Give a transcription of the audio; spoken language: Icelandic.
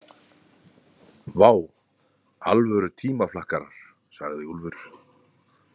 Vá, alvöru tímaflakkarar, sagði Úlfur.